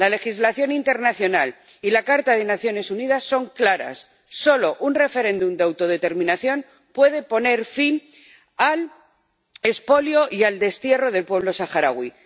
La legislación internacional y la Carta de las Naciones Unidas son claras solo un referéndum de autodeterminación puede poner fin al expolio y al destierro del pueblo saharaui.